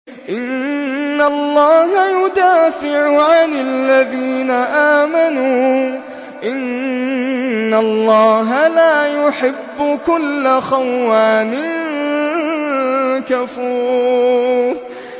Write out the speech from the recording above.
۞ إِنَّ اللَّهَ يُدَافِعُ عَنِ الَّذِينَ آمَنُوا ۗ إِنَّ اللَّهَ لَا يُحِبُّ كُلَّ خَوَّانٍ كَفُورٍ